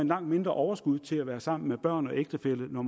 langt mindre overskud til at være sammen med børn og ægtefælle når